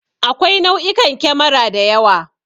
Akwai nau'ikan kemara da yawa.